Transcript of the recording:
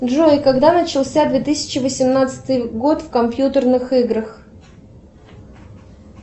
джой когда начался две тысячи восемнадцатый год в компьютерных играх